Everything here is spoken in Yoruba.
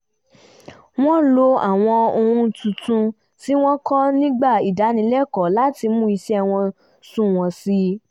wọ́n lo àwọn ohun tuntun tí wọ́n kọ́ nígbà ìdánilẹ́kọ̀ọ́ láti mú iṣẹ́ wọn sunwọ̀n sí i